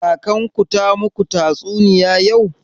Kakan ku ta maku tatsuniya yau?